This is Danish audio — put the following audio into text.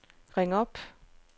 ring op